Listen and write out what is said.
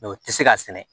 o tɛ se ka sɛnɛ